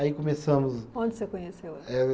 Aí começamos. Onde você conheceu ela? Eh